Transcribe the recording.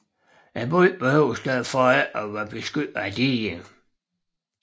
Byen behøves derfor ikke at være beskyttet af diger